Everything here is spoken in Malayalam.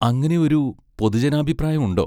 അങ്ങനെ ഒരു പൊതുജനാഭിപ്രായം ഉണ്ടോ?